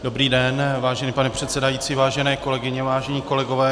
Dobrý den, vážený pane předsedající, vážené kolegyně, vážení kolegové.